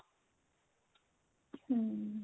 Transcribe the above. hm